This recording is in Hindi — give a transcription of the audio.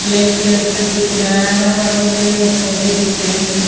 ब्लैक कलर का दिख रहा है हरा भरा पेड़ और पौधे दिख रहे हैं।